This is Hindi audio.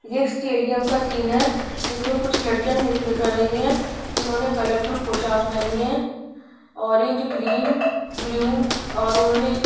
ये स्टेडियम का सीन है जिसमें कुछ लड़कियां नृत्य कर रही हैं जिन्होंने कलरफुल पोशाक पहनी है ऑरेंज ग्रीन ब्लू और उन्होंने--